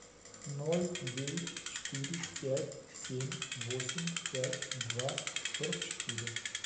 ноль девять четыре пять семь восемь пять два сорок четыре